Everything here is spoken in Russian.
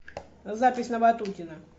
запись на ватутина